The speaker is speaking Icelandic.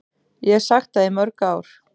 Ég hef sagt það í mörg ár.